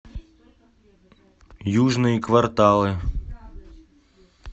южные кварталы